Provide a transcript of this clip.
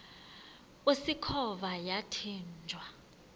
usikhova yathinjw a